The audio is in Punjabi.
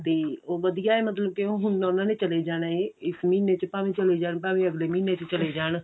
ਤੇ ਉਹ ਵਧੀਆ ਏ ਮਤਲਬ ਕਿ ਹੁਣ ਉਨ੍ਹਾਂ ਨੇ ਚਲੇ ਜਾਣਾ ਇਸ ਮਹੀਨੇ ਚ ਭਾਵੇਂ ਚਲੇ ਜਾਣ ਭਾਵੇਂ ਅਗਲੇ ਮਹੀਨੇ ਚ ਚਲੇ ਜਾਣ